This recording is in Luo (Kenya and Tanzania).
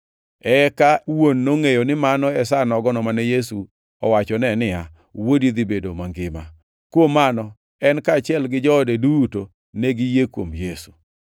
Eka wuon nongʼeyo ni mano e sa nogono mane Yesu owachone niya, “Wuodi dhi bedo mangima.” Kuom mano, en kaachiel gi joode duto ne giyie kuom Yesu.